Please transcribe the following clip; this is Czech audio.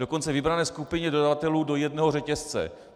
Dokonce vybrané skupině dodavatelů do jednoho řetězce.